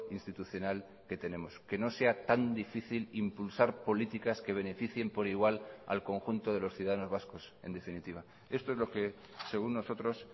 institucional que tenemos que no sea tan difícil impulsar políticas que beneficien por igual al conjunto de los ciudadanos vascos en definitiva esto es lo que según nosotros